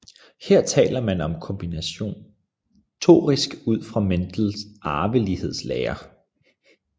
Her taler man om kombinatorik ud fra Mendel arvelighedslære